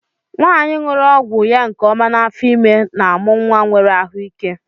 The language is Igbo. Nwanyi ñụrụ ọgwụ ya nke ọma n'afọ ime n'amụ nwa nwere ahụ ike.